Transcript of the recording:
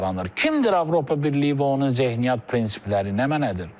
Kimdir Avropa Birliyi və onun zehniyyət prinsipləri nə mənədir?